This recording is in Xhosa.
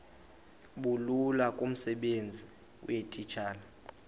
bulula kumsebenzi weetitshala